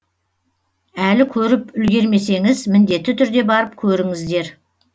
әлі көріп үлгермесеңіз міндетті түрде барып көріңіздер